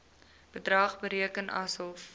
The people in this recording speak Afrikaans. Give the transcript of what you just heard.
bedrag bereken asof